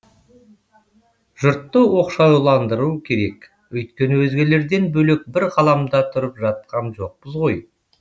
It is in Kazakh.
жұртты оқшауландыру керек өйткені өзгелерден бөлек бір ғаламда тұрып жатқан жоқпыз ғой